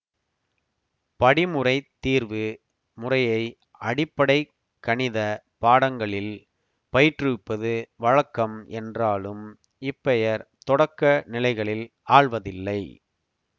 படிமுறைத் தீர்வு முறையை அடிப்படை கணித பாடங்களில் பயிற்றுவிப்பது வழக்கம் என்றாலும் இப்பெயர் தொடக்க நிலைகளில் ஆள்வதில்லை